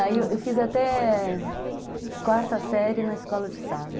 Aí eu fiz até quarta série na escola de estado.